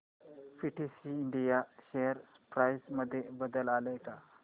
PTC India share price मध्ये बदल आलाय का